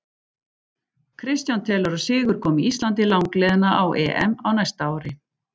Kristján telur að sigur komi Íslandi langleiðina á EM á næsta ári.